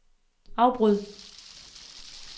afbryd